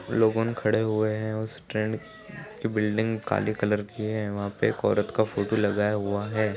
--लोगन खड़े हुए हैं उस ट्रेंड कि बिल्डिंग काले कलर की है वहाँ पे एक औरत का फोटो लगाया हुआ है।